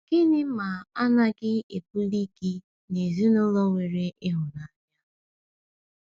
Gịnị ma a naghị ebuli gị n’ezinụlọ nwere ịhụnanya?